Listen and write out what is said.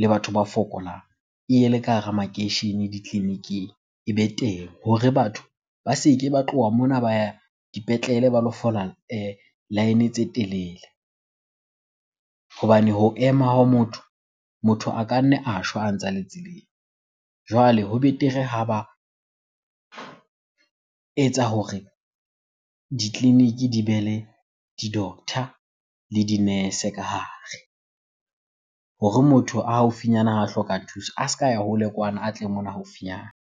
le batho ba fokolang e ye le ka hara makeishene ditleliniking, ebe teng hore batho ba se ke ba tloha mona ba ya dipetlele ba lo fola line tse telele. Hobane ho ema ha motho, motho a ka nna a shwa a ntsale tseleng. Jwale ho betere ha ba etsa hore ditleliniki di be le di-doctor le di-nurse ka hare hore motho a haufinyana ha a hloka thuso, a ska ya hole kwana a tle mona haufinyana.